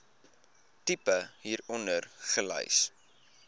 tipe hieronder gelys